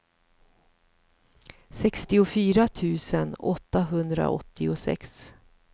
sextiofyra tusen åttahundraåttiosex